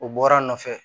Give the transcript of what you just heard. O bɔra a nɔfɛ